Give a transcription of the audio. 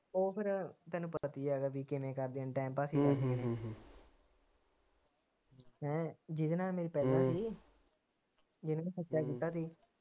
ਉਹ ਫਿਰ ਤੈਨੂੰ ਪਤਾ ਕੀ ਹੇਗਾ ਪੀ ਕਿਵੇਂ ਕਰਦੇ time pass ਈ ਕਰਦੇ ਨੇ ਉਹ ਹੈਂ ਜਿਹਦੇ ਨਾਲ ਮੇਰੀ ਪਹਿਲਾ ਸੀ ਜਿਨੂੰ ਮੈ ਸੱਚਾ ਕੀਤਾ ਸੀ।